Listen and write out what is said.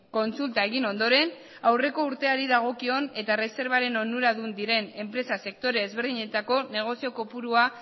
kontsulta egin ondoren aurreko urteari dagokion eta erreserbaren onuradun diren enpresa sektore ezberdinetako negozio kopurua